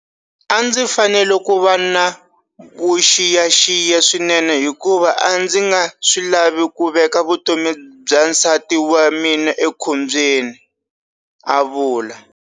A ndzi fanele ku va na vuxiyaxiya swinene hikuva a ndzi nga swi lavi ku veka vutomi bya nsati wa mina ekhombyeni, a vula.